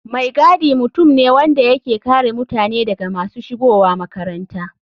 Mai gadi mutum ne wanda yake kare mutane daga masu shigowa makaranta.